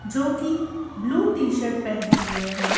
जो कि blue T shirt पहने हुए हैं।